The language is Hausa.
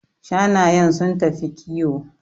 Shanayen sun tafi kiwo